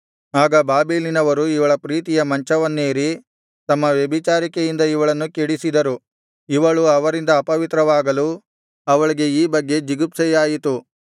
ಆಗ ಬಾಬೆಲಿನವರು ಇವಳ ಪ್ರೀತಿಯ ಮಂಚವನ್ನೇರಿ ತಮ್ಮ ವ್ಯಭಿಚಾರಿಕೆಯಿಂದ ಇವಳನ್ನು ಕೆಡಿಸಿದರು ಇವಳು ಅವರಿಂದ ಅಪವಿತ್ರವಾಗಲು ಅವಳಿಗೆ ಈ ಬಗ್ಗೆ ಜಿಗುಪ್ಸೆಯಾಯಿತು